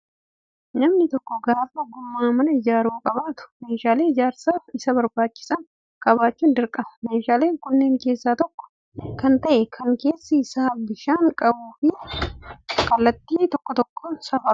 Namni tokko gaafa ogummaa mana ijaaruun qabaatu meeshaalee ijaarsaaf Isa barbaachisan qabaachuun dirqama. Meeshaalee kanneen keessaa tokko kan ta'e kan keessi isaa bishaan qabuu fi kallattii waan tokkoo kan safarudha